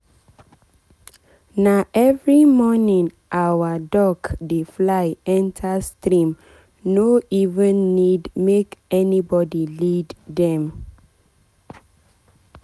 na every morning our duck dey fly enter streame no even need make anybody lead dem.